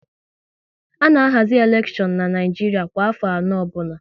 A na ahazi elekshon n'Naijiria kwa afọ anọ ọbụla